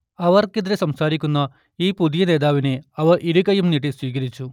അവർക്കെതിരേ സംസാരിക്കുന്ന ഈ പുതിയ നേതാവിനെ അവർ ഇരുകൈയ്യും നീട്ടി സ്വീകരിച്ചു